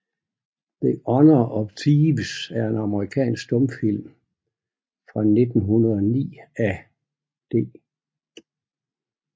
The Honor of Thieves er en amerikansk stumfilm fra 1909 af D